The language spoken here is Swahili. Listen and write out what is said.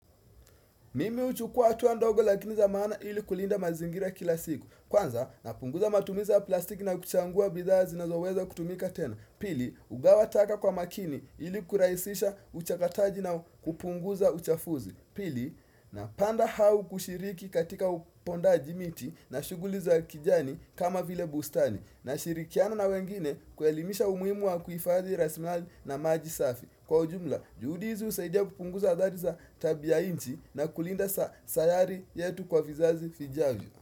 Mimi huchukua hatua ndogo lakini za maana ili kulinda mazingira kila siku. Kwanza, napunguza matumiza ya plastiki na kuchagua bidhaa zinazoweza kutumika tena. Pili, hugawa taka kwa makini ili kurahisisha uchakataji na kupunguza uchafuzi. Pili, napanda au kushiriki katika upondaji miti na shughuli za kijani kama vile bustani. Nashirikiana na wengine kuelimisha umuhimu wa kuhifadhi rasilimali na maji safi. Kwa ujumla, juhudi hizi husaidia kupunguza adhari za tabia inchi na kulinda sayari yetu kwa vizazi vijavyo.